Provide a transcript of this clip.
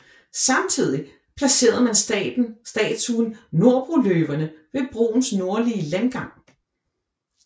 Samtidigt placerede man statuen Norrbroløverne ved broens nordlige landgang